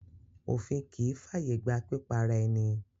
Òfin kì í ń fàyègba pípa ara-ẹni.